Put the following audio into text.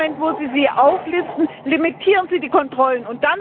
In dem Moment, wo Sie sie auflisten, limitieren Sie die Kontrollen.